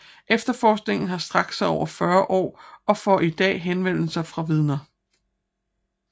Efterforskningen har strakt sig over 40 år og får i dag henvendelser fra vidner